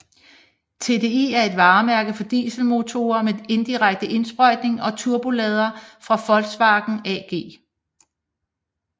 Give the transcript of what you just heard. TDI er et varemærke for dieselmotorer med direkte indsprøjtning og turbolader fra Volkswagen AG